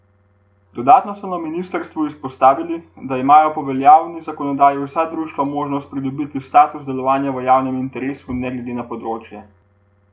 Dodatno so na ministrstvu izpostavili, da imajo po veljavni zakonodaji vsa društva možnost pridobiti status delovanja v javnem interesu ne glede na področje.